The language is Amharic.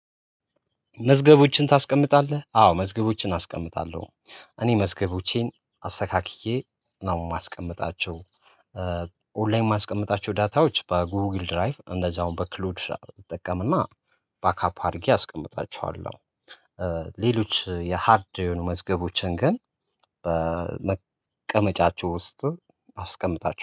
መዝገቦችን ታስቀምጣለህ አዎ መዝገቦችን አስቀምጣለሁ እኔ መዝገቦቼን አስተካክዬ ነው የማስቀምጣቸው ኦንላይን የማስቀምጣቸው ዳታዎች በጉግል ድራይቭ እንደዛው በክሉድ እንጠቀምና ባካፕ አድርጌ አስቀምጣችኋለሁ። ሌሎች የሃርድ የሆኑ መዝገቦችን ግን በመቀመጫቸው ውስጥ አስቀምጣቸዋለሁ